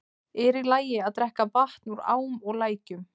Er í lagi að drekka vatn úr ám og lækjum?